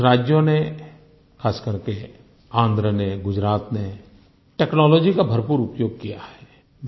कुछ राज्यों ने खास करके आन्ध्र ने गुजरात ने टेक्नोलॉजी का भरपूर उपयोग किया है